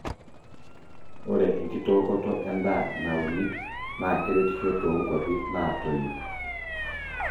ore enkitookoto en'daa nauni naa keretisho too nkwapi naatoyio